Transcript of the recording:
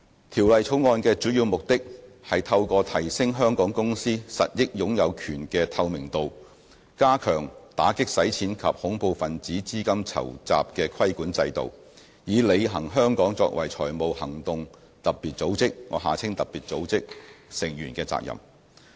《條例草案》的主要目的，是透過提升香港公司實益擁有權的透明度，加強打擊洗錢及恐怖分子資金籌集的規管制度，以履行香港作為財務行動特別組織成員的責任。